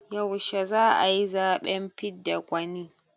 Yaushe za a yi zaɓen fidda gwani?